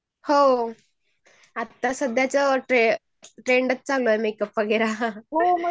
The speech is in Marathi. हो आता सध्याला ट्रेंडच चालू आहे मेकअप चा TING